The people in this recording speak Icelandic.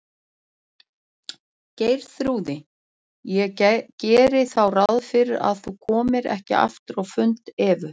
Geirþrúði, ég geri þá ráð fyrir að þú komir ekki aftur á fund hjá Evu.